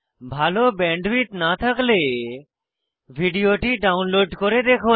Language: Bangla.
ভাল ব্যান্ডউইডথ না থাকলে ভিডিওটি ডাউনলোড করে দেখুন